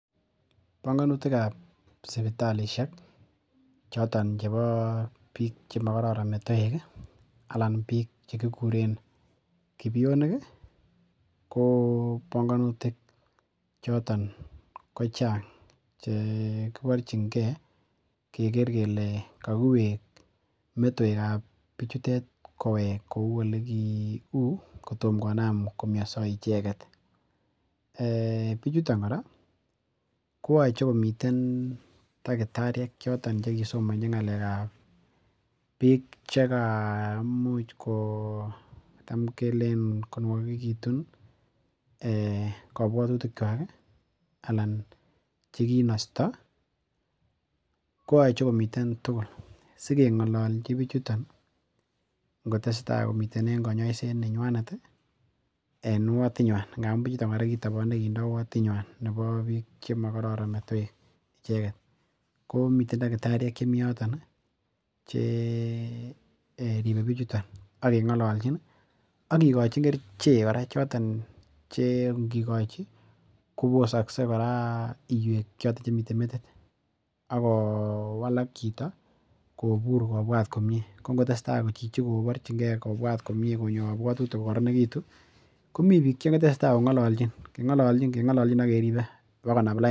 Bongonutikab sipitalisiek choton chebo biik che magororon metoek anan biik che kikuren kibionik, ko bongonutik choton ko chang che kiburchinge keger kele kakiwek metoekab biichutet kowel kou kotom konam komiaso icheget. Eeh! Biichuton kora koyoche komiten takitariek che kisomanji ngalekab biik che kaimuch kotam kelen konwagegitun ee kabwatutikwak, chekinosto, koyoche komiten tugul sikengololji biichoton ngotesta komiten en kanyoiset nenywanet en wotit nywan ngamun kitobone biichuton kora kindoo wotit nywan nebo biik che makororon metoek, icheget. Ko miten takitariek chemi yoton cheribe biichuton ak kengololjin ak kikachin kerichek kora choton che ngikochi kobosakse kora iywek choton chemiten metit ak kowalak chito kobur kobwat komie. Ko ngotesta chichi kobwat komie konyo kabwatutik ko kororonegitu, komi biik che teseta kongalanjin, kengalaljin, kengalaljin bokonam lain.